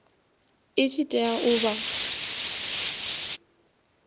i tshi tea u vha